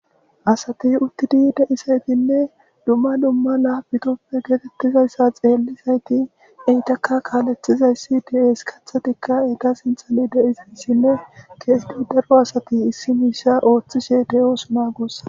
Asate uttidi deisaytinne dumma dumma la bitoppe geetettizayssa xeellizayti eytaka kaaleththizayssi de'es kathetikka egga sinthani deiziyssinne keesiti daro asati issi miisha ooththishe de'oosuna gussa.